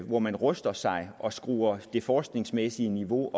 hvor man ruster sig og skruer det forskningsmæssige niveau